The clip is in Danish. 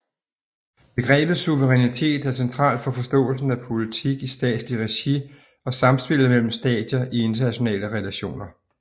Begrebet suverænitet er centralt for forståelsen af politik i statsligt regi og samspillet mellem stater i internationale relationer